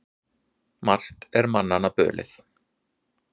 Margt er manna bölið.